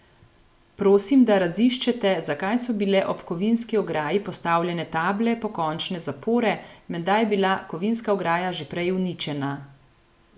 Prosim, da raziščete, zakaj so bile ob kovinski ograji postavljene table pokončne zapore, menda je bila kovinska ograja že prej uničena.